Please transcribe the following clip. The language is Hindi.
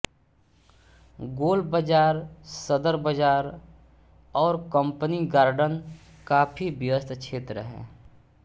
गोलबाज़ार सदरबाज़ार और कंपनी गार्डन काफी व्यस्त क्षेत्र हैं